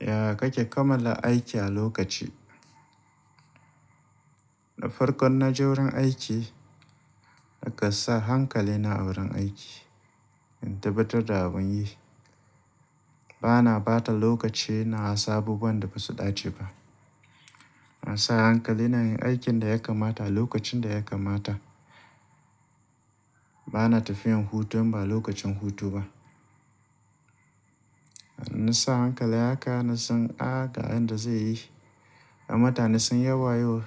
Ya kake kammala aiki a lokaci? Na farko in naje wajen aiki, nakan sa hankali na a wurin aiki in tabbatar da abun yi. Bana ɓata lokaci ina wasu abubuwan da ba su ɗace ba. Na sa hankali na yin aikin da ya kamata a lokacin da ya kamata. Bana tafiyan hutu in ba lokacin hutu ba. Na sa hankali haka na san a ga inda zai yi. Mutane sun yi wayo